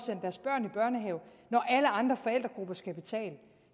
at andre forældregrupper skal betale